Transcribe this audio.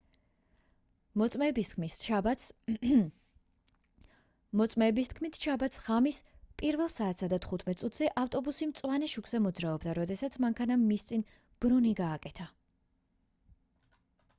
მოწმეების თქმით შაბათს ღამის 1:15 საათზე ავტობუსი მწვანე შუქზე მოძრაობდა როდესაც მანქანამ მის წინ ბრუნი გააკეთა